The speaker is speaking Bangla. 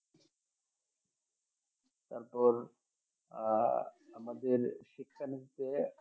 তারপর আহ আমাদের শিক্ষানীতিতে